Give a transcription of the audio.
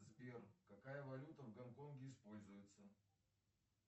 сбер какая валюта в гонконге используется